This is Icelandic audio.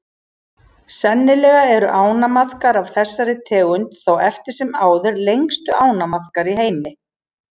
Sennilega eru ánamaðkar af þessari tegund þó eftir sem áður lengstu ánamaðkar í heimi.